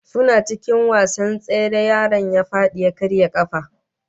Suna cikin wasan tsere yaron ya fadi ya karya kafa